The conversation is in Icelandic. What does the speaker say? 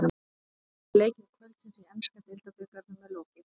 Sex af átta leikjum kvöldsins í enska deildabikarnum er lokið.